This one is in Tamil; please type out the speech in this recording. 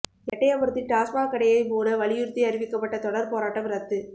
எட்டயபுரத்தில் டாஸ்மாக் கடையை மூட வலியுறுத்தி அறிவிக்கப்பட்ட தொடா் போராட்டம் ரத்து